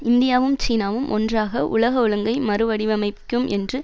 இந்தியாவும் சீனாவும் ஒன்றாக உலக ஒழுங்கை மறு வடிவமைக்கும் என்று